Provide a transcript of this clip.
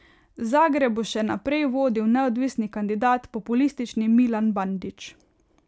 Zagreb bo še naprej vodil neodvisni kandidat, populistični Milan Bandić.